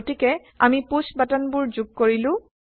গতিকে আমি পুশ্ব বাটনবোৰ যোগ কৰিলো